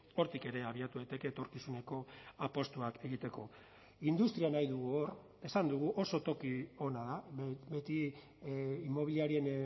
hortik ere abiatu daiteke etorkizuneko apustuak egiteko industria nahi dugu hor esan dugu oso toki ona beti inmobiliarien